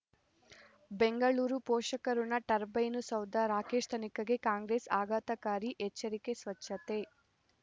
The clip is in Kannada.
ಬೆಂಗಳೂರು ಪೋಷಕಋಣ ಟರ್ಬೈನು ಸೌಧ ರಾಕೇಶ್ ತನಿಖೆಗೆ ಕಾಂಗ್ರೆಸ್ ಆಘಾತಕಾರಿ ಎಚ್ಚರಿಕೆ ಸ್ವಚ್ಛತೆ